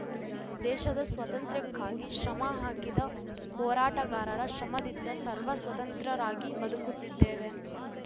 ದೇಶದ ಸ್ವಾತಂತ್ರ್ಯಕ್ಕಾಗಿ ಶ್ರಮ ಹಾಕಿದ ಹೋರಾಟಗಾರರ ಶ್ರಮದಿಂದ ಸರ್ವ ಸ್ವತಂತ್ರರಾಗಿ ಬದುಕುತ್ತಿದ್ದೇವೆ